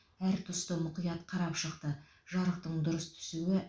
әр тұсты мұқият қарап шықты жарықтың дұрыс түсуі